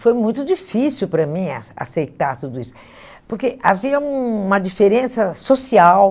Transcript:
Foi muito difícil para mim acei aceitar tudo isso, porque havia uma diferença social.